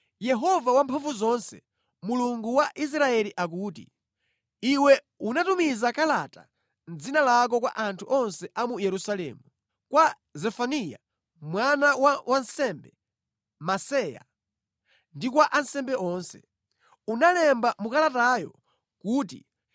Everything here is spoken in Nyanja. “Yehova Wamphamvuzonse, Mulungu wa Israeli akuti: Iwe unatumiza kalata mʼdzina lako kwa anthu onse a mu Yerusalemu, kwa Zefaniya mwana wa wansembe Maseya, ndi kwa ansembe onse. Unalemba mu kalatayo kuti,